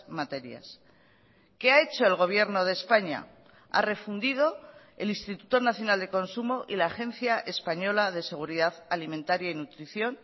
materias qué ha hecho el gobierno de españa ha refundido el instituto nacional de consumo y la agencia española de seguridad alimentaria y nutrición